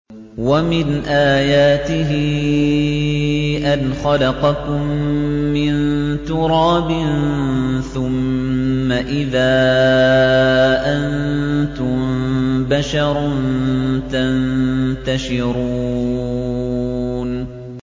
وَمِنْ آيَاتِهِ أَنْ خَلَقَكُم مِّن تُرَابٍ ثُمَّ إِذَا أَنتُم بَشَرٌ تَنتَشِرُونَ